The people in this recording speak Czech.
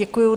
Děkuju.